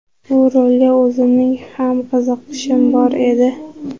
Bu rolga o‘zimning ham qiziqishim bor edi.